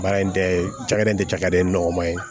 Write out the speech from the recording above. Baara in tɛ cakɛda in tɛ cakɛda in nɔgɔman ye